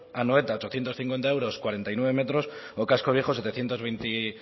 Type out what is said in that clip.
anoeta ochocientos cincuenta euros cuarenta y nueve metros o casco viejo